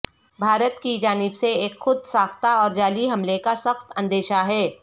بھارت کی جانب سے ایک خود ساختہ اور جعلی حملے کا سخت اندیشہ ہے